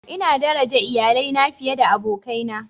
Ina daraja iyalina fiye da abokaina.